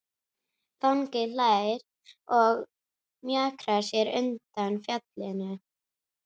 Fanginn hlær og mjakar sér undan fjallinu.